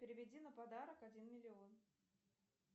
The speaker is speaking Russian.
переведи на подарок один миллион